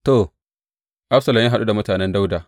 To, Absalom ya haɗu da mutanen Dawuda.